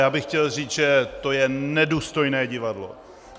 Já bych chtěl říct, že to je nedůstojné divadlo!